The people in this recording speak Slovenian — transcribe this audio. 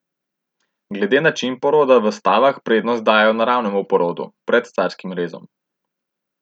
Glede načina poroda v stavah prednost dajejo naravnemu porodu pred carskim rezom.